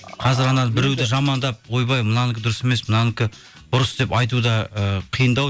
қазір анау біреуді жамандап ойбай мынанікі дұрыс емес мынанікі бұрыс деп айту да і қиындау